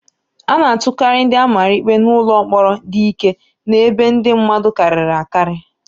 A na-atụkarị ndị a mara ikpe n'ụlọ mkpọrọ dị ike na ebe ndị mmadụ karịrị akarị.